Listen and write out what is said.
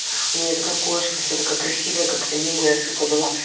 у меня такая кошка вся такая красивая как аниме сука была